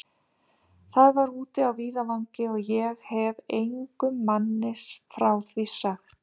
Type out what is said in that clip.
Það var úti á víðavangi, og ég hefi engum manni frá því sagt.